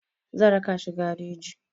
Zan raka shi gareji.